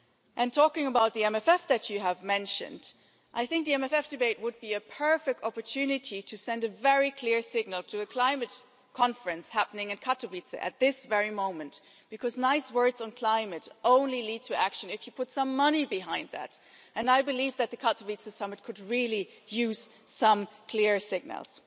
And talking about the MMF that you have mentioned, I think the MFF debate would be a perfect opportunity to send a very clear signal to the climate conference happening in Katowice at this very moment, because nice words on climate only lead to action if you put some money behind that, and I believe that the Katowice summit could really use some clear signals.